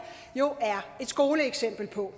jo er et skoleeksempel på